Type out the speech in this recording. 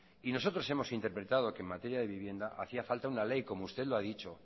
y nosotros hemos interpretado que en materia de vivienda hacía falta una ley como usted lo ha dicho